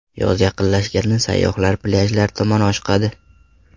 Yoz yaqinlashgani sayyohlar plyajlar tomon oshiqadi.